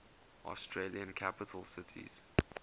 australian capital cities